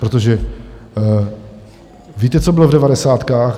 Protože víte, co bylo v devadesátkách?